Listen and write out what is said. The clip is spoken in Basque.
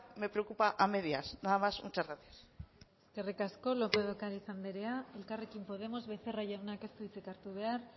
me preocupa a medias nada más muchas gracias eskerrik asko lópez de ocariz anderea elkarrekin podemos becerra jaunak ez du hitzik hartu behar